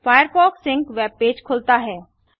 Firefox sync webpage खुलता है